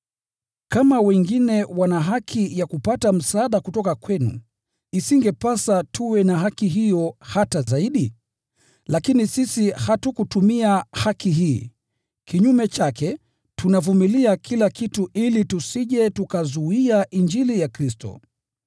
Kama wengine wana haki ya kupata msaada kutoka kwenu, isingepasa tuwe na haki hiyo hata zaidi? Lakini sisi hatukutumia haki hii. Kinyume chake, tunavumilia kila kitu ili tusije tukazuia Injili ya Kristo.